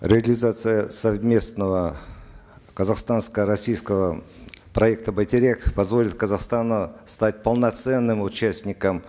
реализация совместного казахстанско российского проекта байтерек позволит казахстану стать полноценным участником